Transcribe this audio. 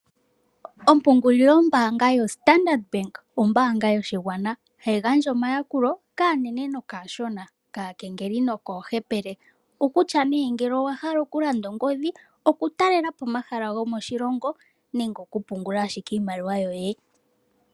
Ompungulilo mbaanga yoStandard Bank ombaanga yoshigwana hayi gandja omayakulo kaanene naashona, kaakengeli nokoohepele okutya nee ongele wa hala okulanda ongodhi, okutalelapo omahala gomoshilongo nenge okupungula owala iimaliwa yoye.